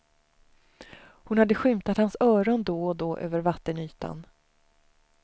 Hon hade skymtat hans öron då och då över vattenytan.